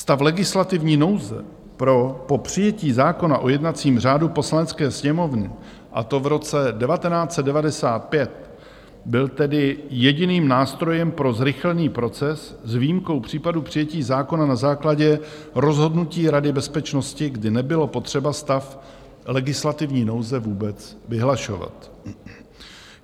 Stav legislativní nouze po přijetí zákona o jednacím řádu Poslanecké sněmovny, a to v roce 1995, byl tedy jediným nástrojem pro zrychlený proces, s výjimkou případu přijetí zákona na základě rozhodnutí rady bezpečnosti, kdy nebylo potřeba stav legislativní nouze vůbec vyhlašovat.